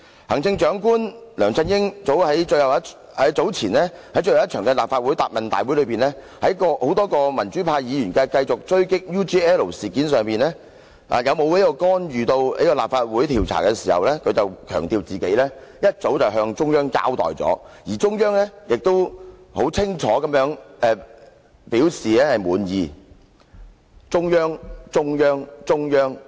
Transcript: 行政長官梁振英早前在最後一次立法會答問會上，眾多民主派議員繼續狙擊 UGL 事件，問他有否干預立法會調查，他當時強調，自己早已向中央交代，而中央亦清楚表示滿意。